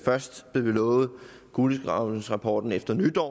først blev vi lovet kulegravningsrapporten efter nytår